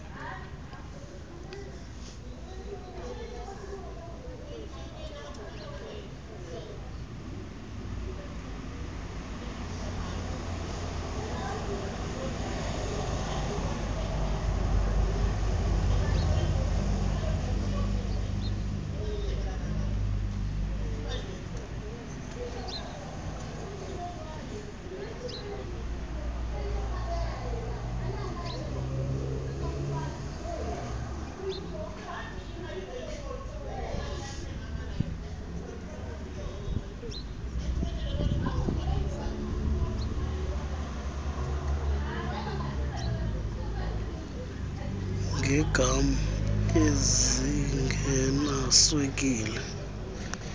ngeegam ezingenaswekile izitro